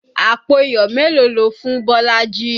Àpò iyọ̀ mélòó lo fún Bolaji?